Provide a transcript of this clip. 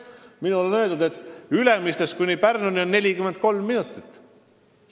Mulle on öeldud, et Ülemistest sõidab Pärnusse 43 minutiga.